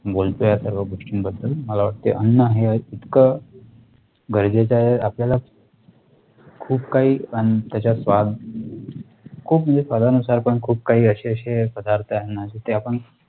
बोलतोय या सर्व गोष्टी बद्दल मला वाटते अन्न हे इतकं गरजेचं आहे आपल्या ला खूप काही आणि त्याच्यात स्वाद खूप म्हणजे स्वाद नुसार पण खूप काही अशे अशे पदार्थ आहे ना ते आपण